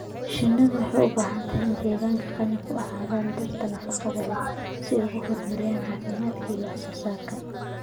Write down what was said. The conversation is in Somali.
Shinnidu waxay u baahan tahay deegaan qani ku ah dhirta nafaqada leh si ay u horumariso caafimaadka iyo wax soo saarka.